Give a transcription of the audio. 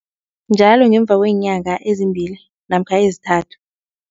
Njalo ngemva kweenyanga ezimbili namkha ezithathu.